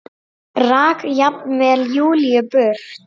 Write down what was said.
Rak jafnvel Júlíu burt.